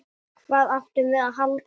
Síðan aftur og aftur.